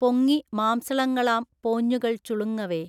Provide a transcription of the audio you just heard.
പൊങ്ങി മാംസളങ്ങളാം പോഞ്ഞുകൾ ചുളുങ്ങവേ